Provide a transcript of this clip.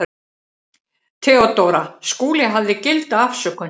THEODÓRA: Skúli hafði gilda afsökun.